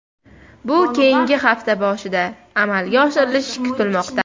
Bu keyingi hafta boshida amalga oshirilishi kutilmoqda.